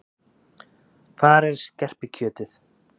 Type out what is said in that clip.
Hvar er skerpikjötið?